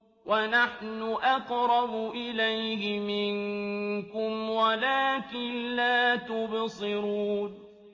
وَنَحْنُ أَقْرَبُ إِلَيْهِ مِنكُمْ وَلَٰكِن لَّا تُبْصِرُونَ